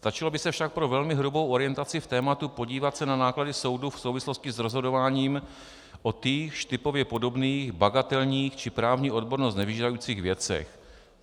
Stačilo by se však pro velmi hrubou orientaci v tématu podívat se na náklady soudu v souvislosti s rozhodováním o týchž typově podobných bagatelních či právní odbornost nevyžadujících věcech.